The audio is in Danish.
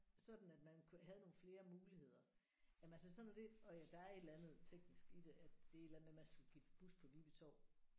Sådan at man kunne havde nogle flere muligheder jamen altså sådan noget det og der er et eller andet teknisk i det at det er et eller andet med at man skal skifte bus på Viby Torv